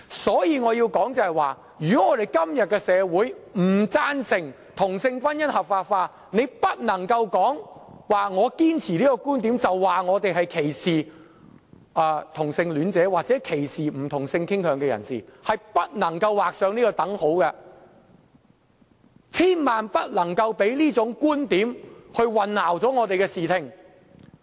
因此，我要指出，如果社會今天不贊成同性婚姻合法化，大家便不能指我堅持這個觀點，是歧視同性戀者或不同性傾向人士，兩者之間是不能劃上等號的，大家千萬不能讓這種觀點混淆我們的視聽。